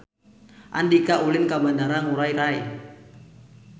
Andika ulin ka Bandara Ngurai Rai